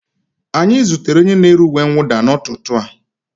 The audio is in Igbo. Anyị zutere onye na-ere uwe mwụda n'ụtụtụ a